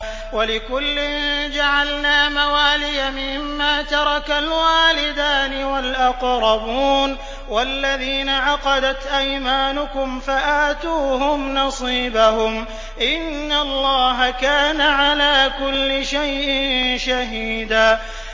وَلِكُلٍّ جَعَلْنَا مَوَالِيَ مِمَّا تَرَكَ الْوَالِدَانِ وَالْأَقْرَبُونَ ۚ وَالَّذِينَ عَقَدَتْ أَيْمَانُكُمْ فَآتُوهُمْ نَصِيبَهُمْ ۚ إِنَّ اللَّهَ كَانَ عَلَىٰ كُلِّ شَيْءٍ شَهِيدًا